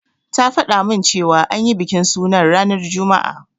Ta fada min cewa an yi bikin sunan ranar juma'a.